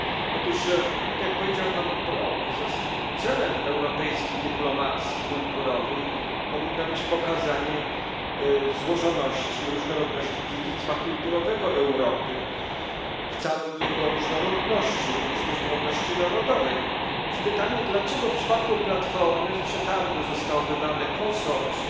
Otóż tak jak powiedział poseł Brok celem europejskiej dyplomacji kulturowej powinno być pokazanie złożoności i różnorodności dziedzictwa kulturowego Europy w całej jego różnorodności, również różnorodności narodowej. Więc pytanie dlaczego w przypadku platformy w przetargu zostało wybrane konsorcjum,